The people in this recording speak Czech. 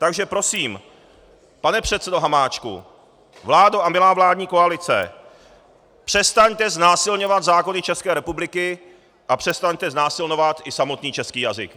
Takže prosím, pane předsedo Hamáčku, vládo a milá vládní koalice, přestaňte znásilňovat zákony České republiky a přestaňte znásilňovat i samotný český jazyk.